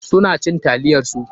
Su na cin taliyar su.